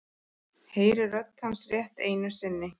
Heyri rödd hans rétt einu sinni.